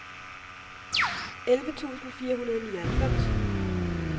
elleve tusind fire hundrede og nioghalvfems